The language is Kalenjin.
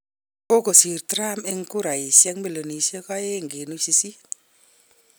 Kagosiir Trump eng kuraisiek milionisiek 2.8.